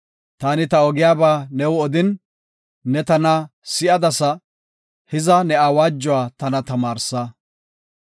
Taani ta ogiyaba new odin, ne tana si7adasa; hiza ne awaajuwa tana tamaarsa.